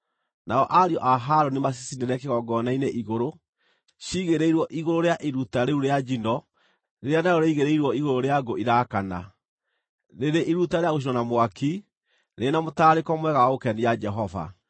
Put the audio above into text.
Nao ariũ a Harũni macicinĩre kĩgongona-inĩ igũrũ, ciigĩrĩirwo igũrũ rĩa iruta rĩu rĩa njino rĩrĩa narĩo rĩigĩrĩirwo igũrũ rĩa ngũ irakana, rĩrĩ iruta rĩa gũcinwo na mwaki, rĩrĩ na mũtararĩko mwega wa gũkenia Jehova.